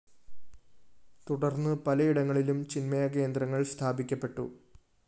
തുടര്‍ന്ന് പലയിടങ്ങളിലും ചിന്മയ കേന്ദ്രങ്ങള്‍ സ്ഥാപിക്കപ്പെട്ടു